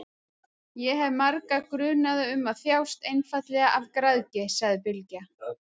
Ég hef marga grunaða um að þjást einfaldlega af græðgi, sagði Bylgja.